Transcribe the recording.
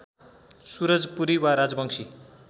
सुरजपुरी वा राजवंशी